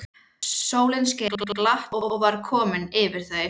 Sólin skein glatt og værð kom yfir þau.